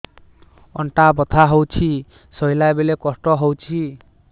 ଅଣ୍ଟା ବଥା ହଉଛି ଶୋଇଲା ବେଳେ କଷ୍ଟ ହଉଛି